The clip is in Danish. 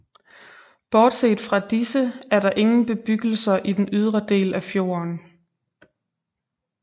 Bortset fra disse er der ingen bebyggelser i den ydre del af fjorden